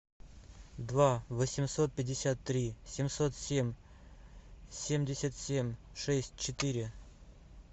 два восемьсот пятьдесят три семьсот семь семьдесят семь шесть четыре